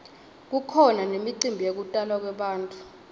kukhona nemicimbi yekutalwa kwebantfu